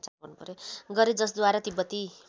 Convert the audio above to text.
गरे जसद्वारा तिब्बती